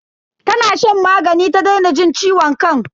Tana shan magani ta daina jin ciwon kan.